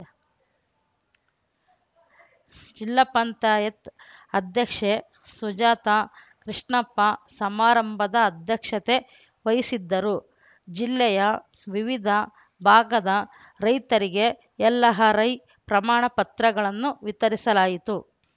ಜಿಲ್ಲಾ ಪಂಚಾಯತ್ ಅಧ್ಯಕ್ಷೆ ಸುಜಾತಾ ಕೃಷ್ಣಪ್ಪ ಸಮಾರಂಭದ ಅಧ್ಯಕ್ಷತೆ ವಹಿಸಿದ್ದರು ಜಿಲ್ಲೆಯ ವಿವಿಧ ಭಾಗದ ರೈತರಿಗೆ ಎಲ್‌ ಹ ರೈ ಪ್ರಮಾಣ ಪತ್ರಗಳನ್ನು ವಿತರಿಸಲಾಯಿತು